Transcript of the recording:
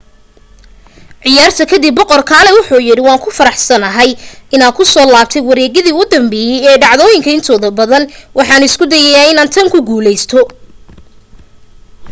ciyaarta ka dib boqor kalaay wuxu yidhi waan ku faraxsanahay inaan ku soo laabtay wareegyadii u dambeeyay ee dhacdooyinka intooda badan. waxaan isku dayayaa inaan tan ku guuleysto.